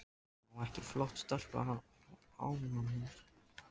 Má ekki flott stelpa hafa áhuga á mér?